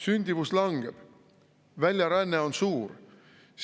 Sündimus langeb, väljaränne on suur.